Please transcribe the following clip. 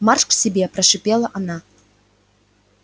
марш к себе прошипела она